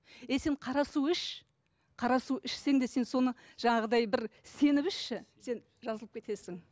е сен қара су іш қара су ішсең де сен соны жаңағыдай бір сеніп ішші сен жазылып кетесің